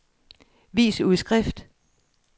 vis udskrift